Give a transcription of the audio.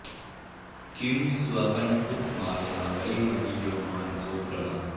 किं स्वप्न उत माया वै मदीयो मानसो भ्रमः